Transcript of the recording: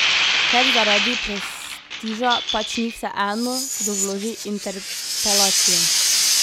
Ker zaradi prestiža pač ni vseeno, kdo vloži interpelacijo.